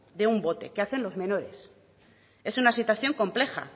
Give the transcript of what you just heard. de un bote que hacen los menores es una situación compleja